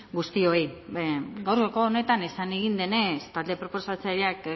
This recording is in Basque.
guztioi gaurko honetan esan egin denez talde proposatzaileak